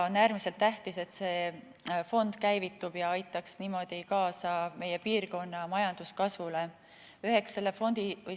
On äärmiselt tähtis, et see fond käivitub ja aitab niimoodi kaasa meie piirkonna majanduskasvule.